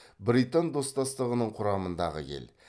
британ достастығының құрамындағы ел